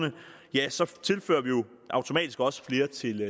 ja så tilfører vi automatisk også flere til